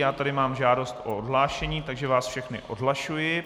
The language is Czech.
Já tady mám žádost o odhlášení, takže vás všechny odhlašuji.